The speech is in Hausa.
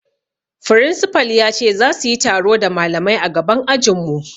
Firinsifal ya ce zasu yi taro da malamai a gaban ajin mu